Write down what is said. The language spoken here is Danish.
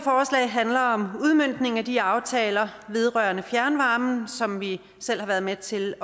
handler om udmøntning af de aftaler vedrørende fjernvarme som vi selv har været med til